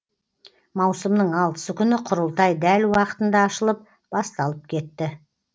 маусымның алтысы күні құрылтай дәл уақытында ашылып басталып кетті